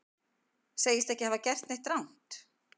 Segist ekki hafa gert neitt rangt